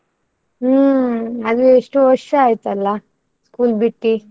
ಹ್ಮ್ ಅದು ಎಷ್ಟೋ ವರ್ಷ ಆಯ್ತಲ್ಲ school ಬಿಟ್ಟಿ.